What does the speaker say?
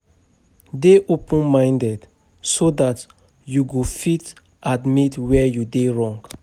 Dey open minded so dat you go fit admit where you dey wrong